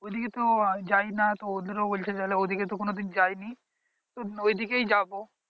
ওই দিকে তো যায় না তো ওদেরও বলছিল ওই দিকে তো কোনো দিন যায় নি তো ওই দিকেই যাবো